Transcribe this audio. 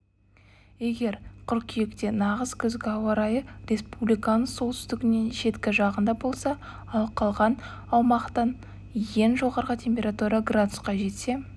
егер қыркүйекте нағыз күзгі ауарайы республиканың солтүстігінің шеткі жағында болса ал қалған аумақтаең жоғарғытемпература градусқа жетсе